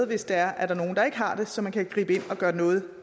hvis der er nogen der ikke har det så man kan gribe ind og gøre noget